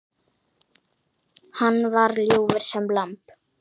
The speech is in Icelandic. Hann var ljúfur sem lamb.